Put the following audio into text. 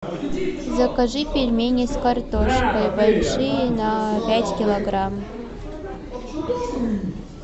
закажи пельмени с картошкой большие на пять килограмм